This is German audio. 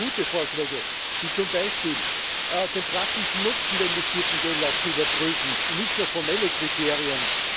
Und sie haben sehr gute Vorschläge, zum Beispiel den praktischen Nutzen der investierten Gelder zu überprüfen und nicht nur formelle Kriterien.